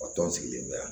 Wa tɔn sigilen bɛ yan